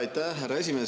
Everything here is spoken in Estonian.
Aitäh, härra esimees!